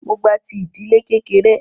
Mó gba ti ìdílé kékeré.